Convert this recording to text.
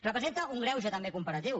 representa un greuge també comparatiu